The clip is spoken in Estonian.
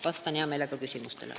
Vastan hea meelega küsimustele.